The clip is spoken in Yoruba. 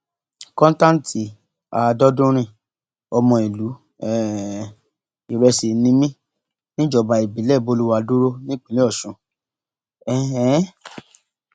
kọńtántì adọdúnrin ọmọ ìlú um ìrẹsì ni mí níjọba ìbílẹ bolùwàdúró nípínlẹ ọsùn um